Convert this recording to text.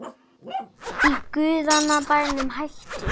Í guðanna bænum hættu